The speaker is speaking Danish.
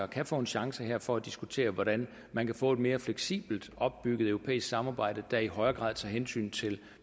kan få en chance her for at diskutere hvordan man kan få et mere fleksibelt opbygget europæisk samarbejde der i højere grad tager hensyn til